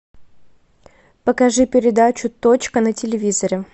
покажи передачу точка на телевизоре